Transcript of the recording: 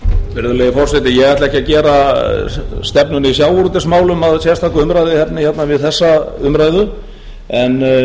virðulegi forseti ég ætla ekki að gera stefnuna í sjávarútvegsmálum að sérstakri umræðu hérna við þessa umræðu en